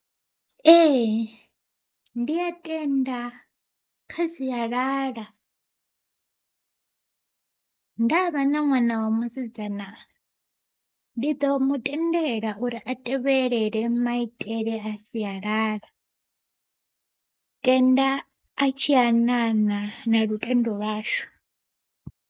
Ee ndi a tenda kha sialala, ndavha na ṅwana wa musidzana ndi ḓo mu tendela uri a tevhelele maitele a sialala, tenda a tshianana na lutendo lwashu.